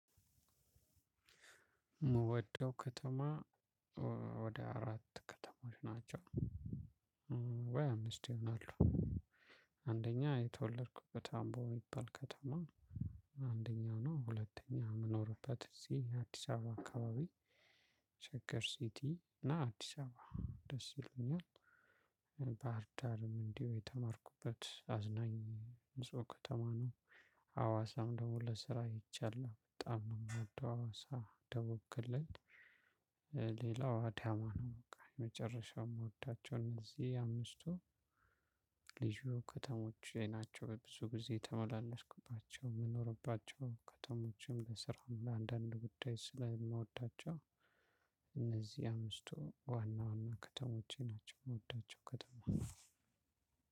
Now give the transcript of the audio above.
የምወደው ከተማ ወደ አራት ከተማዎች ናቸው። ወይ አምስት ይሆናሉ። አንደኛ የተወለድኩበት አምቦ የሚባል ከተማ አንደኛው ነው፣ ሁለተኛው የምኖርበት እዚህ አዲስ አበባ አካባቢ ሸግር ሲቲ እና አዲስ አበባ ደስ ይለኛል። ባህርዳርም እንዲሁ የተማርኩበት፣ አዝናኝ ንጹህ ከተማ ነው። አዋሳም ደግሞ ለስራ ሄጃለው በጣም ነው የሚወደው አዋሳ ደቡብ ክልል። ሌላው አዳማ ነው በቃ የመጨረሻው የምወዳቸው እነዚህ አምስቱ ልዩ ከተሞች ናቸው። ብዙ ጊዜ የተመላለስኩባቸው፣ የምኖርባቸው ከተሞችም ለስራም፣ ለአንዳንድ ጉዳይ ስለምወዳቸው እነዚህ አምስቱ ዋና ዋና ከተሞቼ ናቸው፣ የሚወዳቸው ከተማ።